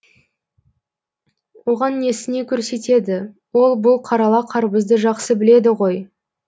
оған несіне көрсетеді ол бұл қарала қарбызды жақсы біледі ғой